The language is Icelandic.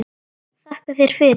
Þakka þér fyrir.